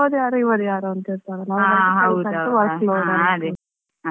ಮತ್ತೇ ಅವ್ರ್ ಯಾರೋ ಇವ್ರು ಯಾರೋ ಅಂತ ಇರ್ತಾರೆ ಅಲ್ಲ.